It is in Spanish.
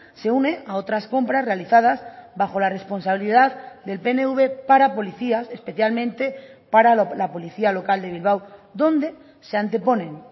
se une a otras compras realizadas bajo la responsabilidad del pnv para policías especialmente para la policía local de bilbao donde se anteponen